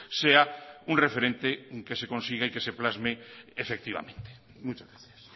sea un referente que se consigue que se plasme efectivamente muchas gracias